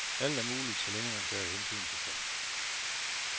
Alt er muligt, så længe man tager hensyn til folk.